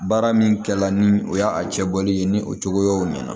Baara min kɛ la ni o y'a cɛ bɔli ye ni o cogoyaw ɲɛna